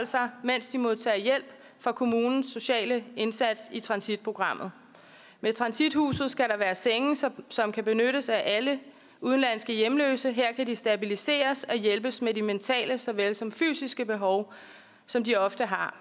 sig mens de modtager hjælp fra kommunens sociale indsats i transitprogrammet med transithuset skal der være senge som kan benyttes af alle udenlandske hjemløse her kan de stabiliseres og hjælpes med de mentale såvel som fysiske behov som de ofte har